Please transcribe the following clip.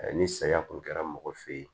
Ni saya kun kɛra mɔgɔ fe yen